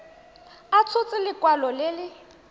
a tshotse lekwalo le le